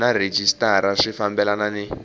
na rhejisitara swi fambelana ni